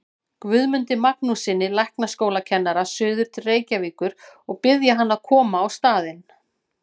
Guðmundi Magnússyni læknaskólakennara suður til Reykjavíkur og biðja hann að koma á staðinn.